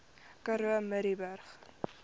karoo murrayburg